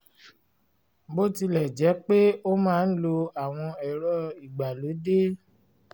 bó tilẹ̀ jẹ́ pé ó máa ń lo àwọn ẹ̀rọ ìgbàlódé